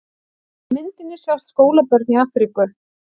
Á myndinni sjást skólabörn í Afríku.